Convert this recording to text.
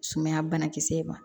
Sumaya banakisɛ in ma